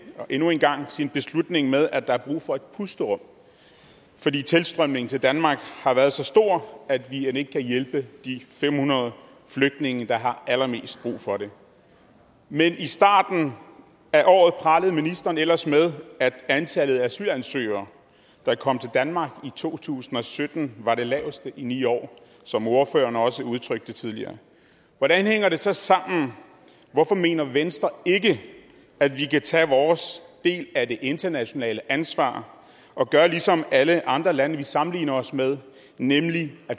endnu en gang sin beslutning med at der er brug for et pusterum fordi tilstrømningen til danmark har været så stor at vi end ikke kan hjælpe de fem hundrede flygtninge der har allermest brug for det men i starten af året pralede ministeren ellers med at antallet af asylansøgere der kom til danmark i to tusind og sytten var det laveste i ni år som ordføreren også udtrykte det tidligere hvordan hænger det så sammen hvorfor mener venstre ikke at vi kan tage vores del af det internationale ansvar og gøre ligesom alle andre lande vi sammenligner os med nemlig